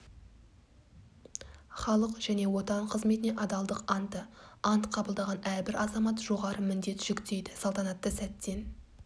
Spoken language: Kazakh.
халық және отан қызметіне адалдық анты ант қабылдаған әрбір азамат жоғары міндет жүктейді салтанатты сәттен